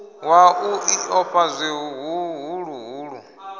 wa u ḽi ofha zwihuluhulu